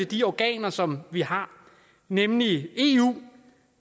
de organer som vi har nemlig eu